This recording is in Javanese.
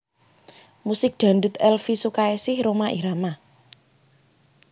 Musik Dangdut Elvie Sukaesih Rhoma Irama